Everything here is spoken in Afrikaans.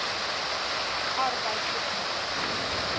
arbeidopenbare